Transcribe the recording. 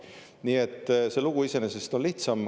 Nii et see lugu iseenesest on lihtsam.